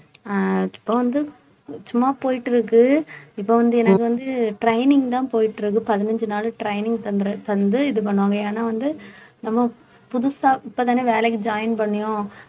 அஹ் இப்ப வந்து சும்மா போயிட்டு இருக்கு இப்ப வந்து எனக்கு வந்து training தான் போயிட்டு இருக்கு பதினஞ்சு நாள் training தந்துரு~ தந்து இது பண்ணுவாங்க ஏன்னா வந்து நம்ம புதுசா இப்பதானே வேலைக்கு join பண்ணியோம்